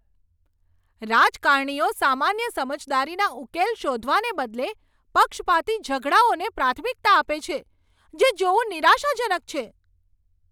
રાજકારણીઓ સામાન્ય સમજદારીના ઉકેલ શોધવાને બદલે પક્ષપાતી ઝઘડાઓને પ્રાથમિકતા આપે છે, તે જોવું નિરાશાજનક છે.